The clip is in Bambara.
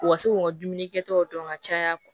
U ka se k'u ka dumuni kɛtaw dɔn ka caya